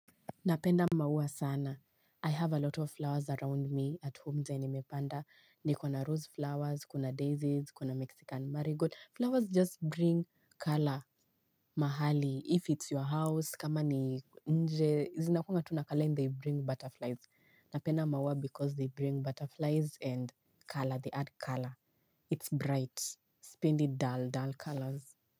Napenda maua sana. I have a lot of flowers around me at home zenye nimepanda. Ni kuna rose flowers, kuna daisies, kuna mexican marigot. Flowers just bring color mahali. If it's your house, kama ni nje, zinakunga tuna color and they bring butterflies. Napenda maua because they bring butterflies and color. They add color. It's bright. Sipendi dull dull colors.